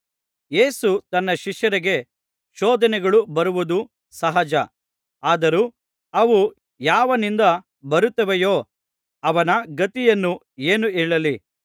ಯೇಸು ತನ್ನ ಶಿಷ್ಯರಿಗೆ ಶೋಧನೆಗಳು ಬರುವುದು ಸಹಜ ಆದರೂ ಅವು ಯಾವನಿಂದ ಬರುತ್ತವೆಯೋ ಅವನ ಗತಿಯನ್ನು ಏನು ಹೇಳಲಿ